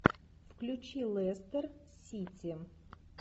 включи лестер сити